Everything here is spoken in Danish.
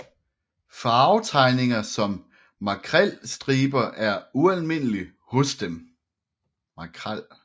Farvetegninger som makrelstriber er ualmindelige hos den